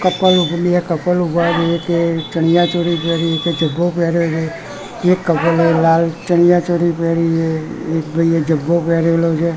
Couple ચણિયાચોરી પેહરી છે જબ્ભો પહેર્યો છે એક કપલે લાલ ચણિયાચોરી પેહરી છે એક ભઈએ જબ્ભો પહેરેલો છે.